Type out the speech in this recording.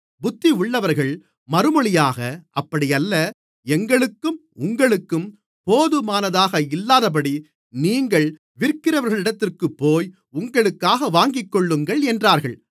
புத்தியுள்ளவர்கள் மறுமொழியாக அப்படியல்ல எங்களுக்கும் உங்களுக்கும் போதுமானதாக இல்லாதபடி நீங்கள் விற்கிறவர்களிடத்திற்குப்போய் உங்களுக்காக வாங்கிக்கொள்ளுங்கள் என்றார்கள்